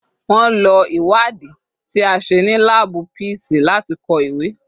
Wọ́n lo ìwádìí ti a ṣe ní láàbù písíìsì láti kọ ìwé.